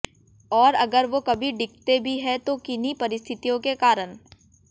और अगर वो कभी डिगते भी हैं तो किन्हीं परिस्थितियों के कारण